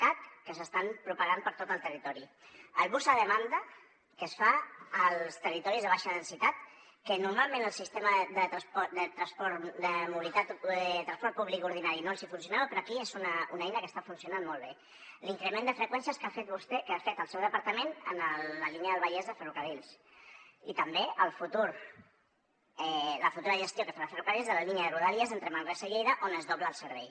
cat que s’estan propagant per tot el territori el bus a demanda que es fa als territoris de baixa densitat que normalment el sistema de transport públic ordinari no els funcionava però aquí és una eina que està funcionant molt bé l’increment de freqüències que ha fet vostè que ha fet el seu departament en la línia del vallès de ferrocarrils i també la futura gestió que farà ferrocarrils de la línia de rodalies entre manresa i lleida on es dobla el servei